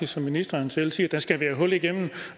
som ministeren selv siger der skal være hul igennem